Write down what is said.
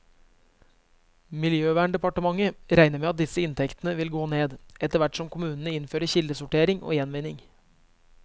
Miljøverndepartementet regner med at disse inntektene vil gå ned, etterhvert som kommunene innfører kildesortering og gjenvinning.